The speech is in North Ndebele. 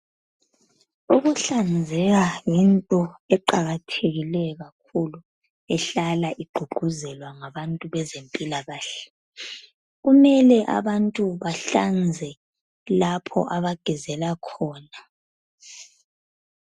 Ukuhlanzeka yinto eqakathekileyo kakhulu ehlala igqugquzelwa ngabantu bezempilakahle. Kumele abantu bahlanze lapho abagezela khona.